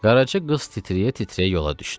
Qaraca qız titrəyə-titrəyə yola düşdü.